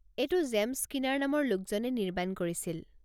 এইটো James Skinner নামৰ লোকজনে নিৰ্মাণ কৰিছিল।